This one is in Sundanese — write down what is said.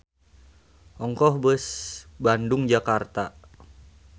Ongkoh beus Bandung-Jakarta.